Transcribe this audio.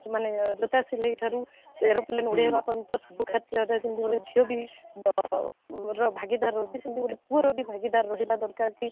ମାନେ ଜୋତା ସିଲେଇ ଠାରୁ aeroplane ଉଡେଇବା ପର୍ଯ୍ୟନ୍ତ ସବୁ କ୍ଷେତ୍ରରେ କେମିତି ଝିଅ ବି ଆଉ ବାପା ର ଭାଗିଦାର ରଖୁଛନ୍ତି କିନ୍ତୁ ପୁଅର ବି ଭାଗିଦାର କି